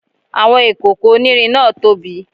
Àwọn ìkòkò onírin náà tóbi